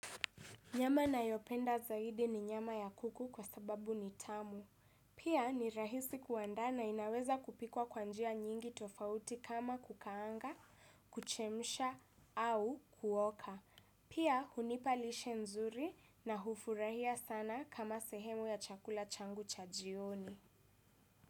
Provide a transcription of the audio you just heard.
Nyama ninayopenda zaidi ni nyama ya kuku kwa sababu ni tamu. Pia ni rahisi kuandaa na inaweza kupikwa kwa njia nyingi tofauti kama kukaanga, kuchemsha au kuoka. Pia hunipa lishe nzuri na hufurahia sana kama sehemu ya chakula changu cha jioni.